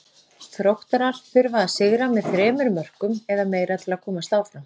Þróttarar þurfa að sigra með þremur mörkum eða meira til að komast áfram.